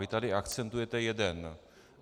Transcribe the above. Vy tady akcentujete jeden.